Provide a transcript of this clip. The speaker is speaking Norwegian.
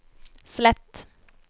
slett